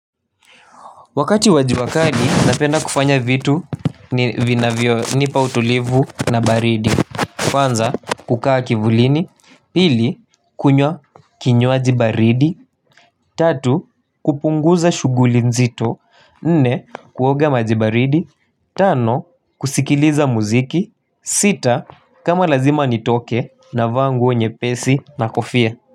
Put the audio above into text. Wakati wa jua wakali napenda kufanya vitu ni vinavyo nipa utulivu na baridi. Kwanza kukaa kivulini. Pili kunywa kinywaji baridi. Tatu kupunguza shuguli nzito. Nne kuoga maji baridi. Tano kusikiliza muziki. Sita kama lazima nitoke navaa nguo nyepesi na kofia.